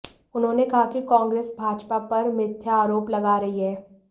उन्होंने कहा कि कांग्रेस भाजपा पर मिथ्या आरोप लगा रही है